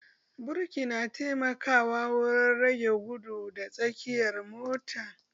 Birki na taimakawa wurin rage gudu da tsayawar mota